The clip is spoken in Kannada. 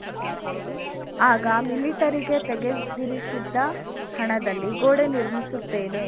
ಆಗ ಮಿಲಿಟರಿಗೆ ತೆಗೆದಿರಿಸಿದ್ದ ಹಣದಲ್ಲಿ ಗೋಡೆ ನಿರ್ಮಿಸುತ್ತೇನೆ